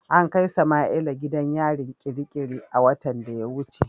An kai Samaila gidan yarin kirikiri a watan da ya wuce.